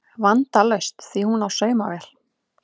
Vandalaust því hún á saumavél